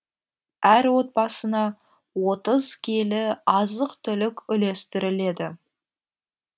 әр отбасына отыз келі азық түлік үлестіріледі